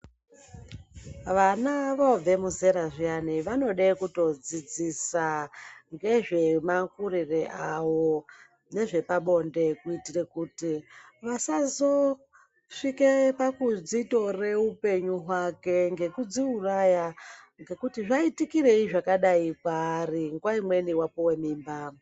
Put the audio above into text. Vana vobve muzera zviyani vanode kuto dzidzisa ngezve makurire avo ngezve pabonde kuitire kuti vasazo svike pakudzi tore upenyu hwake nekudzi uraya ngekuti zvaitikirei zvakadai kwaari nguva imweni apuwe mimba.